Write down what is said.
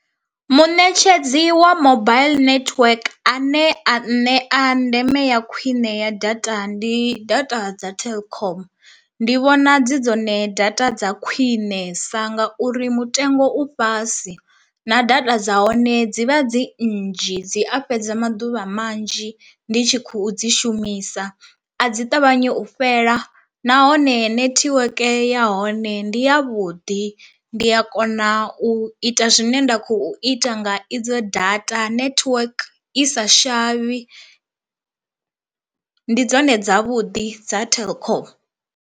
Muṋetshedzi wa mobile network ane a nṋea ndeme ya khwine ya data ndi data dza telkom, ndi vhona dzi dzone data dza khwiṋesa nga uri mutengo u fhasi na data dza hone dzivha dzi nnzhi dzi a fhedza maḓuvha manzhi ndi tshi khou dzi shumisa, a dzi ṱavhanyi u fhela nahone netiweke ya hone ndi ya vhuḓi ndi a kona u ita zwine nda khou ita nga idzo data network i sa shavhi ndi dzone dzavhuḓi dza telkom.